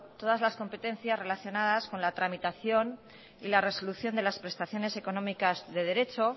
todas las competencias relacionadas con la tramitación y resolución de las prestaciones económicas de derecho